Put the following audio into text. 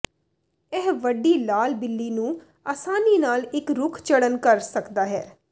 ਇਹ ਵੱਡੀ ਲਾਲ ਬਿੱਲੀ ਨੂੰ ਆਸਾਨੀ ਨਾਲ ਇੱਕ ਰੁੱਖ ਚੜ੍ਹਨ ਕਰ ਸਕਦਾ ਹੈ